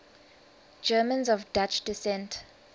germans of dutch descent